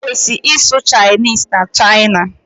Ị kwesi-isụ Chinese na China.